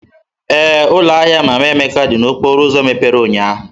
Ee, ụlọ ahịa Mama Emeka dị n'okporo ụzọ mepere ụnyahụ.